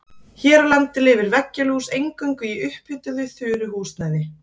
Hér á landi lifir veggjalús eingöngu í upphituðu þurru húsnæði.